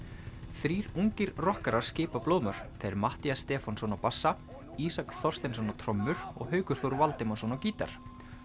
þrír ungir rokkarar skipa blóðmör þeir Matthías Stefánsson á bassa Ísak Þorsteinsson á trommur og Haukur Þór Valdimarsson á gítar